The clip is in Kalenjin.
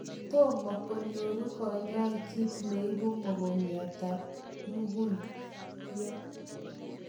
tomaa konyoruu kanyoik kiit neibu mogongiat ab mukuyot